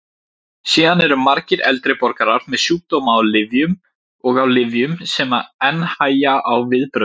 Síðan eru margir eldri borgarar með sjúkdóma og á lyfjum sem enn hægja á viðbrögðum.